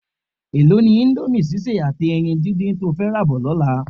Èló ni íńdómì sísè àti ẹyin díndín to fẹ́ rà bọ̀ lọ́la?